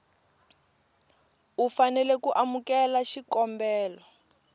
u fanela ku amukela xikombelo